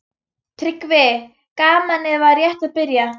TRYGGVI: Gamanið var rétt að byrja.